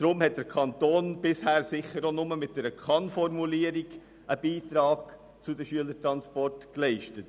Deshalb hat der Kanton bisher auch nur mit einer Kann-Formulierung einen Beitrag zu den Schülertransporten geleistet.